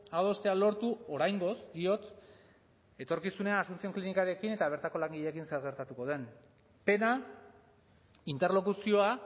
adostea lortu oraingoz diot etorkizunean asuncion klinikarekin eta bertako langileekin zer gertatuko den pena interlokuzioa